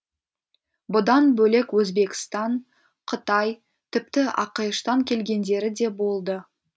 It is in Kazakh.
бұдан бөлек өзбекстан қытай тіпті ақш тан келгендері де болды